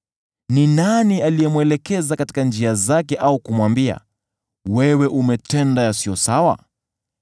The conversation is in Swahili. Ni nani aliyemwelekeza katika njia zake, au kumwambia, ‘Wewe umetenda yasiyo sawa’?